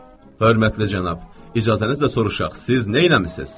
Hörmətli cənab, icazənizlə soruşaq, siz neyləmisiz?